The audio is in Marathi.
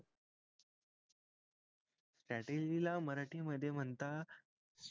strategy ला मराठी मध्ये म्हणतात